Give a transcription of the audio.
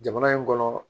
Jamana in kɔnɔ